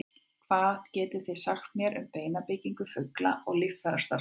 hvað getið þið sagt mér um beinabyggingu fugla og líffærastarfsemi